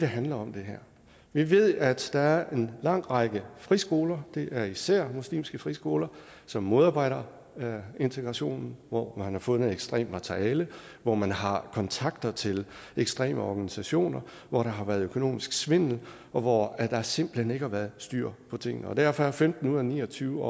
handler om vi ved ved at der er en lang række friskoler det er især muslimske friskoler som modarbejder integrationen hvor man har fundet ekstremt materiale hvor man har kontakter til ekstreme organisationer hvor der har været økonomisk svindel og hvor der simpelt hen ikke har været styr på tingene derfor er femten ud af ni og tyve